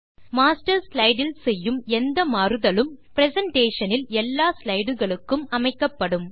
master slide இல் செய்யும் எந்த மாறுதலும் பிரசன்டேஷன் இல் எல்லா ஸ்லைடுகளுக்கும் அமைக்கப்படும்